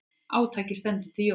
Átakið stendur til jóla.